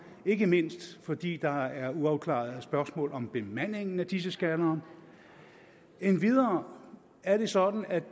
ikke mindst fordi der er uafklarede spørgsmål om bemandingen af disse scannere endvidere er det sådan at